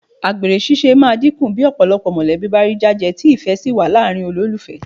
Àgbèrè ṣíṣe máa dínkù bí ọ̀pọ̀ mọ̀lẹ́bí bá rí jájẹ tí ìfẹ́ sì wà láàrin olólùfẹ́